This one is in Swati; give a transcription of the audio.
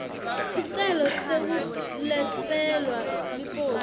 sicelo sekuletselwa liposi